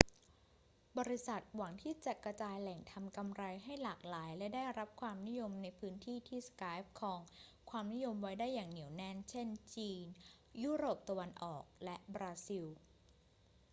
บริษัทหวังที่จะกระจายแหล่งทำกำไรให้หลากหลายและได้รับความนิยมในพื้นที่ที่ skype ครองความนิยมไว้ได้อย่างเหนียวแน่น เช่น จีน ยุโรปตะวันออก และบราซิล